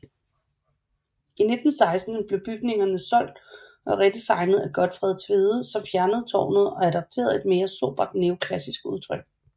I 1916 blev bygningerne solgt og redesignet af Gotfred Tvede som fjernede tårnet og adapterede et mere sobert neoklassisk udtryk